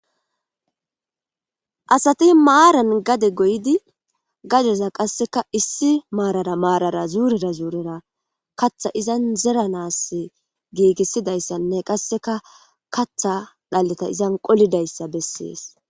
Asati maaran gade goydi gadeza qasseka issi maarara maarara zuurira zuurera katha izan zeranas giigissidayssanne qasseka katha dhalleta izan qolidayssa bessees.